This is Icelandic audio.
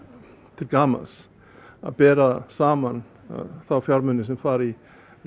til gamans að bera saman þá fjármuni sem fara í